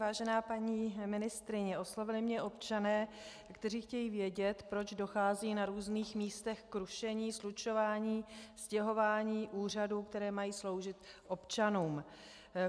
Vážená paní ministryně, oslovili mě občané, kteří chtějí vědět, proč dochází na různých místech k rušení, slučování, stěhování úřadů, které mají sloužit občanům.